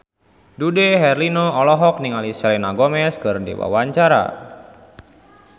Dude Herlino olohok ningali Selena Gomez keur diwawancara